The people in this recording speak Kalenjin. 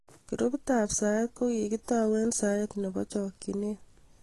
Grupit ab saet kokikitau eng saet nebo haraka